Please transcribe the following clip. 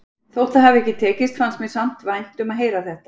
Þótt það hafi ekki tekist fannst mér samt vænt um að heyra þetta.